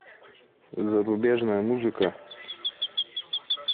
зарубежная музыка